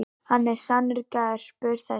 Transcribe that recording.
Hann er sannur garpur þessi.